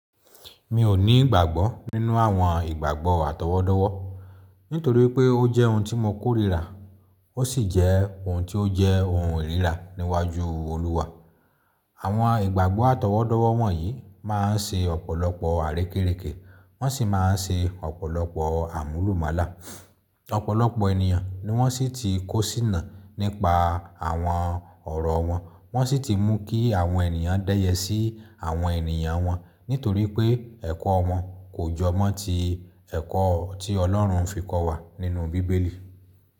Mi ò ní ìgbàgbọ́ nínú àwọn ìgbàgbọ́ àtọwọ́dọ́wọ́ nítorí pé ó jẹ́ ohun tí mo kórìíra ó sì jẹ́ ohun tí ó jẹ́ ohun ìríra níwájú Olúwa. Àwọn ìgbàgbọ́ àtọwọ́dọ́wọ́ wọ̀nyí máa ń ṣe ọ̀pọ̀lọpọ̀ àrékérekè wọ́n sì máa ń ṣe ọ̀pọ̀lọpọ̀ àmúlùmálà. Ọ̀pọ̀lọpọ̀ ènìyàn ni wọ́n sì ti kó síná nípa àwọn ọ̀rọ̀ wọn, wọ́n sì ti mú kí àwọn ènìyàn dẹ́yẹ sí àwọn ènìyàn wọn nítorí pé ẹ̀kọ́ wọn kò jọ mọ́ ti ẹ̀kọ́ tí Ọlọ́run fi kọ́ wa nínú bíbélì.